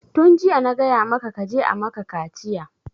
Tun jiya na gaya maka kaje a maka kaciya!